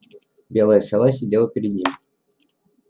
белая сова сидела перед ним